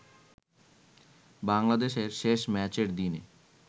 বাংলাদেশের শেষ ম্যাচের দিনে